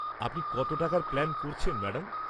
আপনি কত টাকার প্ল্যান করছেন, ম্যাডাম?